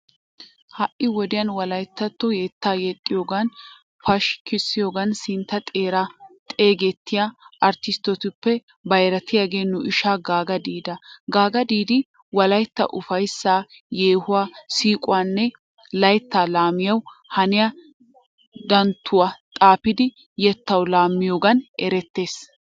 Ha'i wodiyan wolaytatto yetta yexxiyoganinne pashkkisiyogan sintta xeeran xeegettiyaa artistettuppe bayratiyage nu ishaa gaaga didda. Gaaga diiddi wolaytta uffayssa, yehuwaa, siquwaanne laytta lamiyawu haniya danttuwaa xaafidi yettawu lammiyogan erettes.